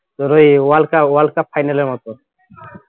ধরো এই world cup world cup final এর মত